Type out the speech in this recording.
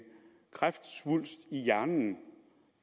kræftsvulst i hjernen